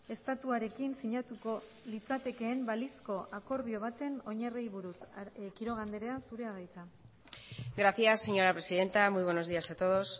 estatuarekin sinatuko litzatekeen balizko akordio baten oinarriei buruz quiroga andrea zurea da hitza gracias señora presidenta muy buenos días a todos